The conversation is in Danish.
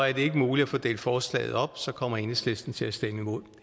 er det ikke muligt at få delt forslaget op kommer enhedslisten til at stemme imod